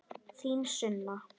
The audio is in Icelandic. Þín Sunna.